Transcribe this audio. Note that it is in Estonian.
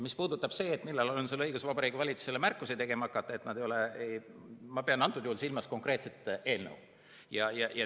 Mis puudutab seda, millal on sul õigus Vabariigi Valitsusele märkusi tegema hakata, siis ma pean antud juhul silmas konkreetset eelnõu.